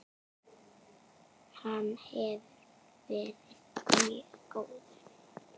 Hann hefur verið mjög góður.